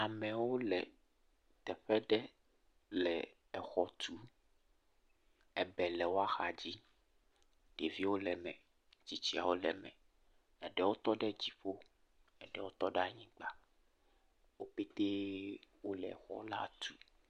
Amewo le teƒe aɖe le xɔ tum. Ebɛ le wòa xa dzi. Ɖeviwo le eme, tsitsiawo le eme, eɖewo tɔ ɖe dziƒo, eɖe tɔ ɖe anyigba. Wo petee wole xɔ la tum.